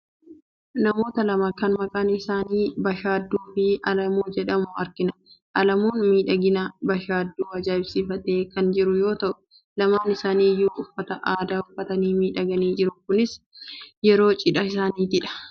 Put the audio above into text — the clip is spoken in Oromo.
Namoota lama kan maqaan isaanii Bashaadduu fi Alamuu jedhaman argina. Alamuun miidhagina Bashaadduu ajaa'ibsiifatee kan jiru yoo ta'u, lamaan isaanii iyyuu uffata aadaa uffatanii miidhaganii jiru. Kunis yeroo cidha isaaniittidha.